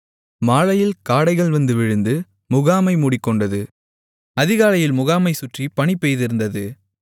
மாலையில் காடைகள் வந்து விழுந்து முகாமை மூடிக்கொண்டது அதிகாலையில் முகாமைச் சுற்றி பனி பெய்திருந்தது